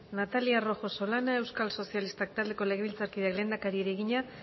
natalia rojo solana euskal sozialistak taldeko legebiltzarkideak lehendakariari egina